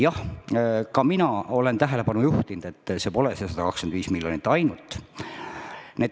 Jah, ka mina olen tähelepanu juhtinud, et see pole ainult 125 miljonit.